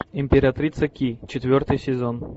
императрица ки четвертый сезон